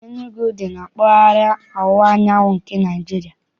Enugwu dị na mpaghara ọwụwa anyanwụ nke Naịjirịa.